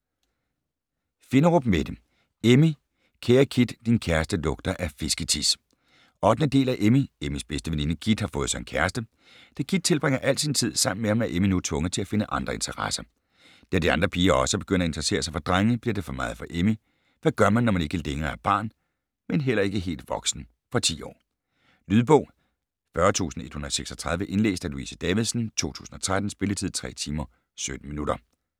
Finderup, Mette: Emmy - kære Kit, din kæreste lugter af fisketis 8. del af Emmy. Emmys bedste veninde Kit har fået sig en kæreste. Da Kit tilbringer al tid sammen med ham, er Emmy nu tvunget til at finde andre interesser. Da de andre piger også begynder at interessere sig for drenge, bliver det for meget for Emmy. Hvad gør man, når man ikke længere er barn men heller ikke helt voksen. Fra 10 år. Lydbog 40136 Indlæst af Louise Davidsen, 2013. Spilletid: 3 timer, 17 minutter.